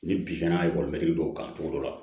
Ni bin kana dɔw kan cogo dɔ la